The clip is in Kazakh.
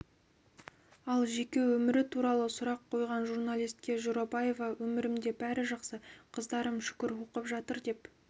ал жеке өмірі туралы сұрақ қойған журналистке жорабаева өмірімде бәрі жақсы қыздарым шүкір оқып жатыр деп